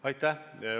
Aitäh!